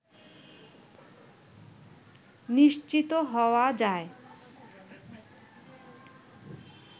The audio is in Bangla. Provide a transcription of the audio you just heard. নিশ্চিত হওয়া যায়